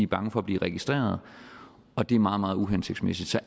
bange for at blive registeret og det er meget meget uhensigtsmæssigt så